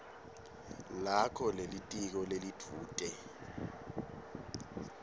lakho lelitiko lelidvute